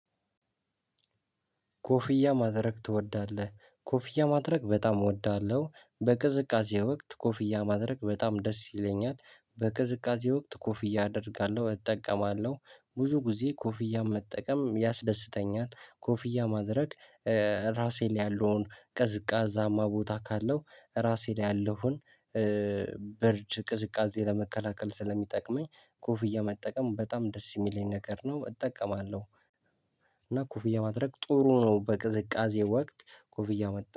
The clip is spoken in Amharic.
ኮፍያ ማድረግ ትወዳለህ ኮፍያ ማድረግ በጣም እወዳለሁ በቅዝቃዜ ወቅት ኮፍያ ማድረግ በጣም ደስ ይለኛል በቅዝቃዜ ወቅት ኮፍያ አደርጋለሁ እጠቀማለሁ ብዙ ጊዜ ኮፍያ መጠቀም ያስደስተኛል ኮፍያ ማድረግ። ራሴን ያለውን ቅዝቃዛማ ቦታ ካለው ራሴ ላይ ያለውን ብርጅ ቅዝቃዜ ለመከላከል ስለሚጠቅመኝ ኮፍያ መጠቀም በጣም ደስ የሚለኝ ነገር ነው እጠቀማለሁ። እና ኮፍያ ማድረግ ጥሩ ነው በቅዝቃዜ ወቅት ኮፍያ መጣ